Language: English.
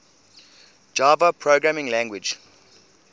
java programming language